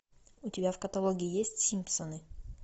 у тебя в каталоге есть симпсоны